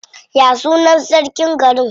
Ya sunan sarkin garin?